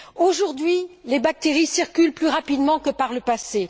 Aujourd'hui, les bactéries circulent plus rapidement que par le passé.